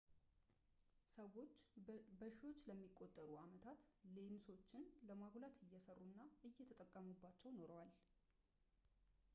ሰዎች በሺዎች ለሚቆጠሩ ዓመታት ሌንሶችን ለማጉላት እየሠሩ እና እየተጠቀሙባቸው ኖረዋል